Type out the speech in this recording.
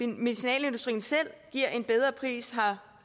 medicinalindustrien selv giver en bedre pris